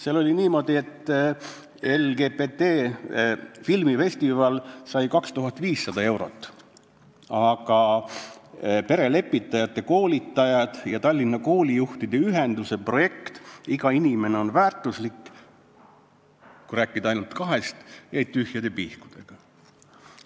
Seal on kirjas, et LGBT filmifestival sai 2500 eurot, aga perelepitajate koolitajad ja Tallinna Koolijuhtide Ühenduse projekt "Iga inimene on väärtuslik" – kui rääkida ainult kahest projektist – jäid tühjade pihkudega.